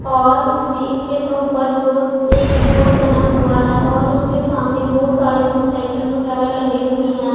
और इसमें इसके सब ऊपर बहुत एक बोर्ड बना हुआ हैं और उसके सामने बहोत सारे मोटरसाइकल वगैरा लगे हुएं हैं।